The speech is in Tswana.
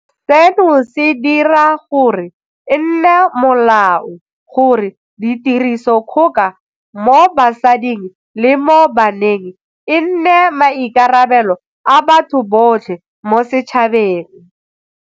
Seno se dira gore e nne molao gore tirisodikgoka mo basading le mo baneng e nne maikarabelo a batho botlhe mo setšhabeng.